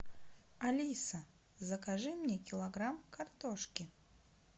алиса закажи мне килограмм картошки